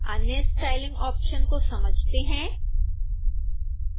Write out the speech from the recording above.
अन्य styling option को समझते हैं